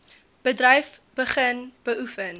bedryf begin beoefen